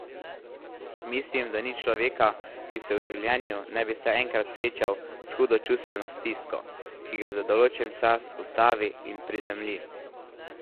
Mislim, da ni človeka, ki se v življenju ne bi vsaj enkrat srečal s hudo čustveno stisko, ki ga za določen čas ustavi in prizemlji.